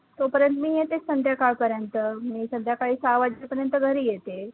तोपर्यंत मी येतेच संध्याकाळपर्यंत, मी संध्याकाळी सहा वाजेपर्यंत घरी येते.